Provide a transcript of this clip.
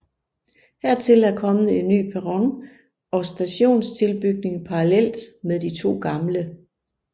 Hertil er kommet en ny perron og stationstilbygning parallelt med de to gamle